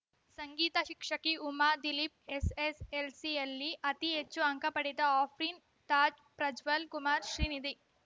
ಸಂಗೀತ ಶಿಕ್ಷಕಿ ಉಮಾ ದಿಲೀಪ್‌ ಎಸ್‌ಎಸ್‌ಎಲ್‌ಸಿ ಯಲ್ಲಿ ಅತಿ ಹೆಚ್ಚು ಅಂಕ ಪಡೆದ ಅಫ್ರೀನ್‌ ತಾಜ್‌ ಪ್ರಜ್ವಲ್‌ ಕುಮಾರ ಶ್ರೀನಿಧಿ